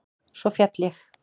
Svo féll ég.